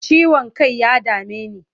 Ciwon kai ya dame ni.